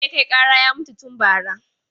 Wanda ya kai ƙara ya mutu tu bara.